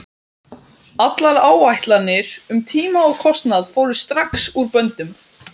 Allar áætlanir um tíma og kostnað fóru strax úr böndum.